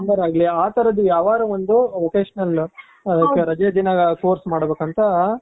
plumber ಆಗ್ಲಿ ಆ ತರದ್ದು ಯಾವಾರ ಒಂದು vocational ರಜದಿನಗಳಲ್ಲಿ course ಮಾಡ್ಬೇಕು ಅಂತ